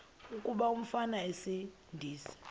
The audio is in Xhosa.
kuba umfana esindise